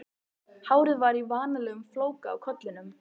Hárið var í vanalegum flóka á kollinum.